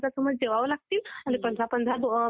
हा पण मुलींना असं काही राहत नाही मुलींना स्पेशल टाइमिंग